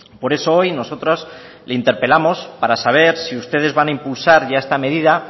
por eso hoy nosotros le interpelamos para saber si ustedes van a impulsar ya esta medida